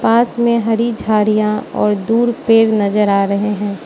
पास मे हरी झाड़ियां और दूर पेड़ नज़र आ रहे है।